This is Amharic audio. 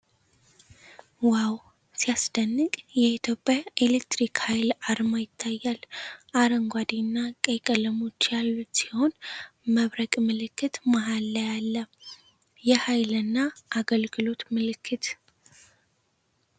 ዋው ሲያስደንቅ ! የኢትዮጵያ ኤሌክትሪክ ኃይል አርማ ይታያል ። አረንጓዴ እና ቀይ ቀለሞች ያሉት ሲሆን መብረቅ ምልክት መሃል ላይ አለ። የኃይልና አገልግሎት ምልክት!